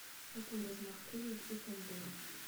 какой размах крыльев у кондора